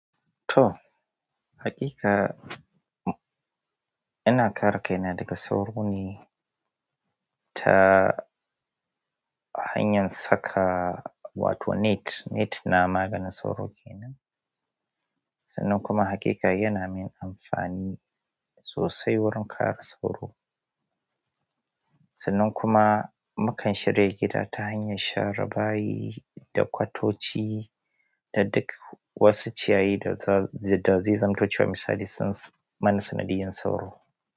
To, haƙiƙa ina ƙara kaina daga sauro ne ta hanyar saka wato net. Net na maganin sauro kenan. Sannan kuma haƙiƙa yana min amfani sossai wurin kare sauro sannan kuma mu kan shirta gida ta hanyar share bayi da kwatoci da duk wasu ciyayi da za su da zai zamto cewa misali, sun mana sanadiyar sauro.